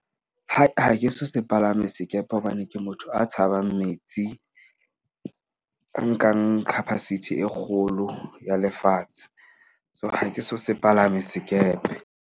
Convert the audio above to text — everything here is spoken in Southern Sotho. Ha ke se palame sekepe hobane ke motho a tshabang metsi. Nkang capacity e kgolo ya lefatshe, so ha ke so se palame sekepe.